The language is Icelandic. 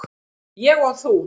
Ég og þú.